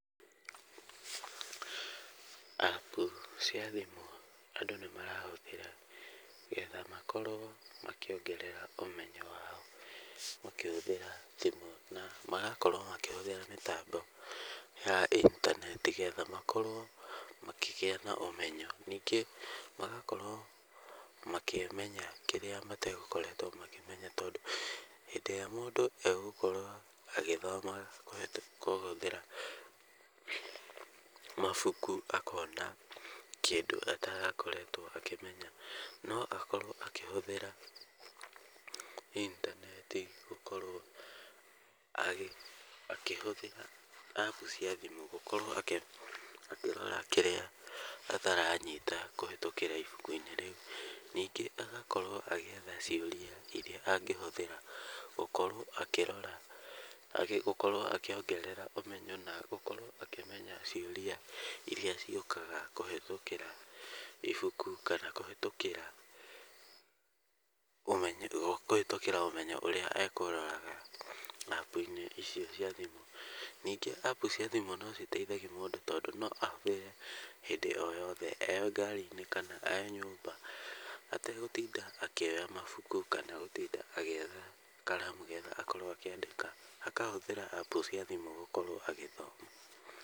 App cia thimũ andũ nĩ marahũthĩra getha makorwo makĩongerera ũmenyo wao makĩhũthĩra thimũ, na magakorwo makĩhũthĩra mĩtambo ya intaneti, getha makorwo makĩgĩa na ũmenyo. Ningĩ magakorwo makĩmenya kĩrĩa mategũkoretwo makĩmenya, tondũ hĩndĩ ĩrĩa mũndũ egũkorwo agĩthoma kũhĩtũkĩra mabuku, akona kĩndũ atarakoretwo akĩmenya. No akorwo akĩhũthĩra intaneti gũkorwo akĩhũthĩra App cia thimũ, gũkorwo akĩrora kĩrĩa ataranyita kũhĩtũkĩra ibuku-inĩ rĩu. Ningĩ agakorwo agĩetha ciũria irĩa angĩhũthĩra gũkorwo akĩrora, gũkorwo akĩongerera ũmenyo na gũkorwo akĩmenya ciũria irĩa ciũkaga kũhĩtũkĩra ibuku kana kũhĩtũkĩra ũmenyo ũrĩa ekũroraga App-inĩ icio cia thimũ. Ningĩ App cia thimũ no citeithagia mũndũ tondũ no ahũthĩre hĩndĩ o yothe e ngaari-inĩ kana e nyũmba ategũtinda akĩoya mabuku kana gũtinda agĩetha karamu, getha akorwo akĩandĩka, akahũthĩra cia thimũ agĩthoma.